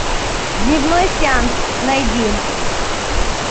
дневной сеанс найди